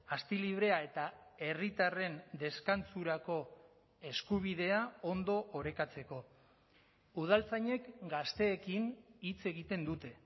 asti librea eta herritarren deskantsurako eskubidea ondo orekatzeko udaltzainek gazteekin hitz egiten dute